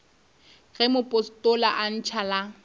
ge mopostola a ntšha la